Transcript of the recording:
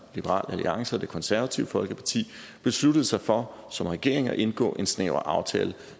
liberal alliance og det konservative folkeparti besluttede sig for som regering at indgå en snæver aftale